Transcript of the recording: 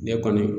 Ne kɔni